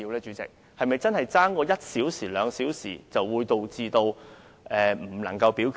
主席，假如相差一兩小時，會否導致不能進行表決呢？